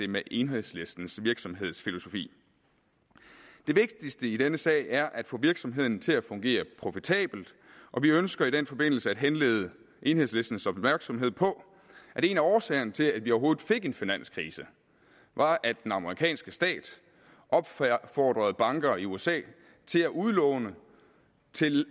med enhedslistens virksomhedsfilosofi det vigtigste i denne sag er at få virksomheden til at fungere profitabelt og vi ønsker i den forbindelse at henlede enhedslistens opmærksomhed på at en af årsagerne til at vi overhovedet fik en finanskrise var at den amerikanske stat opfordrede banker i usa til at udlåne til